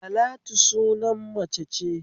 Talatu sunan mace ce